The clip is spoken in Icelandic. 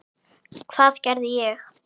Hvað gerði ég?